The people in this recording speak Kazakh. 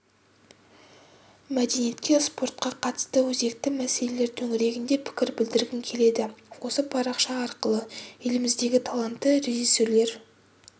мәдениетке спортқа қатысты өзекті мәселелер төңірегінде пікір білдіргім келеді осы парақша арқылы еліміздегі талантты режиссерлер